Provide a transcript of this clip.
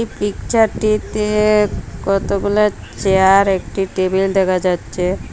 পিকচারটিতে কতগুলা চেয়ার একটি টেবিল দেখা যাচ্ছে।